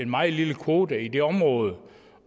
meget lille kvote i det område